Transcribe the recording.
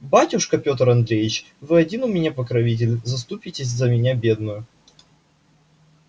батюшка пётр андреевич вы один у меня покровитель заступитесь за меня бедную